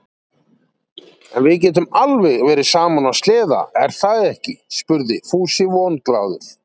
En við getum alveg verið saman á sleða, er það ekki? spurði Fúsi vonglaður.